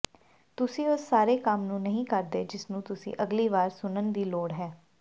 ਤੁਸੀਂ ਉਸ ਸਾਰੇ ਕੰਮ ਨੂੰ ਨਹੀਂ ਕਰਦੇ ਜਿਸਨੂੰ ਤੁਸੀਂ ਅਗਲੀ ਵਾਰ ਸੁਨਣ ਦੀ ਲੋੜ ਹੈ